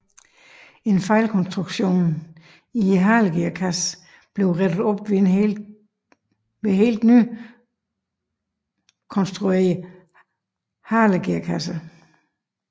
En fejlkonstruktion i halegearkassen blev rettet op ved helt nykonstruerede halegearkasser